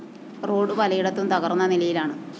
road പലയിടത്തും തകര്‍ന്ന നിലയിലാണ്